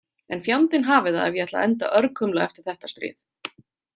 En fjandinn hafi það ef ég ætla að enda örkumla eftir þetta stríð